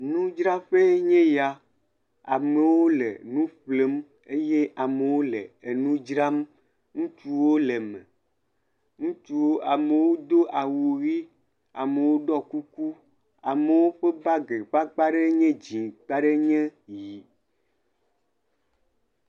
Nudzraƒe enye ya, amewo le nu ƒlem eye amewo le nu dzram. Ŋutsuwo le me, ŋutsuwo, amewo do awu ʋi, amewo ɖɔ kuku, amewo ƒe bagi ƒe akpa ɖe nye dzɛ̃ akpa ɖe nye ʋi.